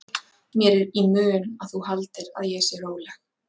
Mér er í mun að þú haldir að ég sé róleg.